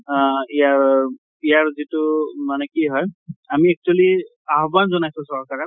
আ ইয়াৰ, ইয়াৰ যিটো মানে কি হয়, আমি actually আহ্বান জনাইছো চৰকাৰে